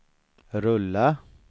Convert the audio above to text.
rulla